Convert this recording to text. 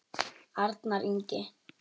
Arnar Ingi.